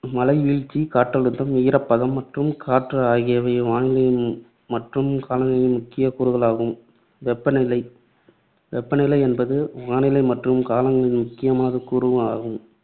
மழை வீழ்ச்சி, காற்றழுத்தம், ஈரப்பதம் மற்றும் காற்று ஆகியவை வானிலை மற்றும் காலநிலையின் முக்கியக் கூறுகளாகும். வெப்ப நிலை, வெப்ப நிலை என்பது, வானிலை மற்றும் காலநிலையின் முக்கியமான கூறு ஆகும்.